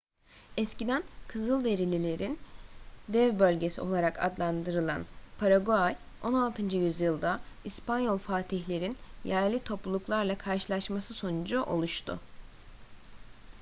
eskiden kızılderililerin dev bölgesi olarak adlandırılan paraguay 16. yüzyılda i̇spanyol fatihlerin yerli topluluklarla karşılaşması sonucu oluştu